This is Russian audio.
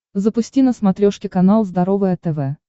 запусти на смотрешке канал здоровое тв